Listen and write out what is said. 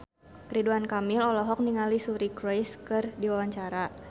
Ridwan Kamil olohok ningali Suri Cruise keur diwawancara